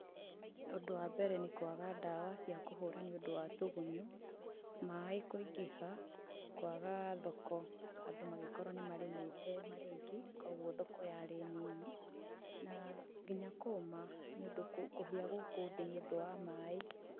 Ũndũ wa mbere nĩ kwaga dawa cia kũhũra ni ũndũ wa tũgũnyũ, maĩ kũingĩha, kwaga thoko, andũ magikũrũo ni mariĩmĩte marĩ aingĩ, kũgũo thoko yarĩ nini, na nginya kũũma nĩ ũndũ kũhĩa gũkũ thíĩ ni ũndũ wa maĩ.